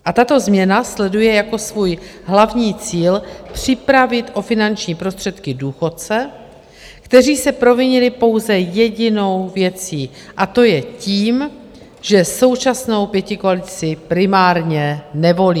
A tato změna sleduje jako svůj hlavní cíl připravit o finanční prostředky důchodce, kteří se provinili pouze jedinou věcí, a to je tím, že současnou pětikoalici primárně nevolí.